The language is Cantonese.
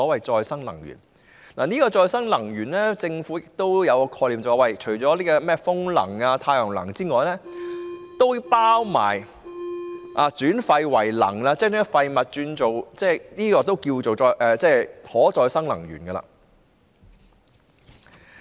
就可再生能源，政府也有一種概念，就是除了風能和太陽能外，也包括轉廢為能，即將廢物轉為能源，這也可稱為可再生能源。